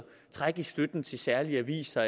trække støtten til særlige aviser